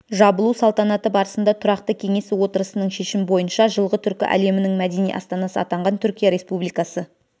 жабылу салтанаты барысында тұрақты кеңесі отырысының шешімі бойынша жылғы түркі әлемінің мәдени астанасы атанған түркия республикасы